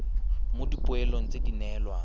mo dipoelong tse di neelwang